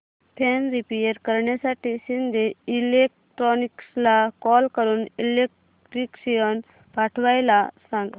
fan repair करण्यासाठी शिंदे इलेक्ट्रॉनिक्सला call करून इलेक्ट्रिशियन पाठवायला सांग